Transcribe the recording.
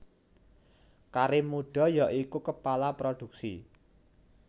Karim Muda ya iku Kepala Produksi